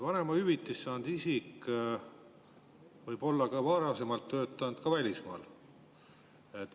Vanemahüvitist saanud isik võib olla varasemalt töötanud ka välismaal.